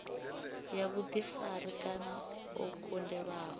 ya vhuḓifari kana o kundelwaho